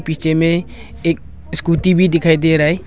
पीछे में एक स्कूटी भी दिखाई दे रहा है।